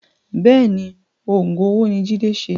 Bẹ́ẹ̀ni Oògùn owó ni Jide ṣe